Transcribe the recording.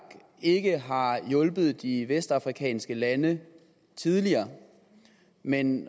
ikke har hjulpet de vestafrikanske lande tidligere men